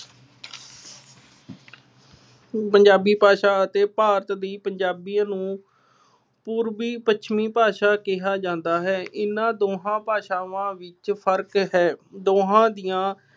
ਪੰਜਾਬੀ ਭਾਸ਼ਾ ਅਤੇ ਭਾਰਤ ਦੀ ਪੰਜਾਬੀਅਤ ਨੂੰ ਪੂਰਬੀ ਪੱਛਮੀ ਭਾਸ਼ਾ ਕਿਹਾ ਜਾਂਦਾ ਹੈ। ਇਹਨਾ ਦੋਹਾਂ ਭਾਸ਼ਾਵਾਂ ਵਿੱਚ ਫਰਕ ਹੈ। ਦੋਹਾ ਦੀਆਂ